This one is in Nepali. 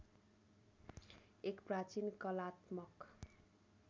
एक प्राचीन कलात्मक